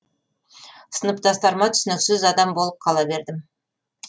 сыныптастарыма түсініксіз адам болып қала бердім